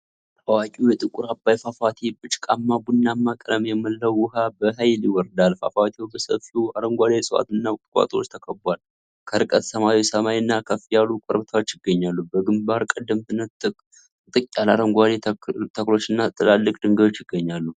ታዋቂው የጥቁር አባይ ፏፏቴ፣ በጭቃማ ቡናማ ቀለም የሞላው ውሃ በኃይል ይወርዳል። ፏፏቴው በሰፊው አረንጓዴ እፅዋትና ቁጥቋጦዎች ተከብቧል። ከርቀት ሰማያዊ ሰማይና ከፍ ያሉ ኮረብታዎች ይገኛሉ። በግንባር ቀደምትነት ጥቅጥቅ ያሉ አረንጓዴ ተክሎችና ትላልቅ ድንጋዮች ይገኛሉ።